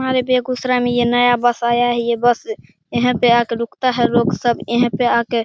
हमारे बेगूसराय में ये नया बस आया है ये बस यहीं पर आकर रूकता है लोग सब यहीं पर आके --